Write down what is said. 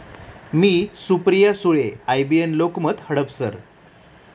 मी, Supriya Sule, IBN Lokmat, Hadapsar!